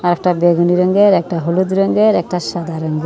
একটা বেগুনি রঙ্গের একটা হলুদ রঙ্গের একটা সাদা রঙ্গের ।